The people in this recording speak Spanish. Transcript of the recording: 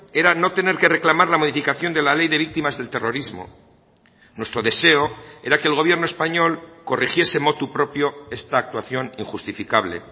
era no tener que reclamar la modificación de la ley de víctimas del terrorismo nuestro deseo era que el gobierno español corrigiese motu propio esta actuación injustificable